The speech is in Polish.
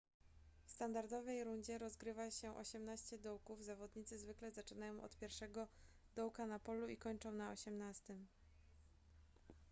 w standardowej rundzie rozgrywa się osiemnaście dołków zawodnicy zwykle zaczynają od pierwszego dołka na polu i kończą na osiemnastym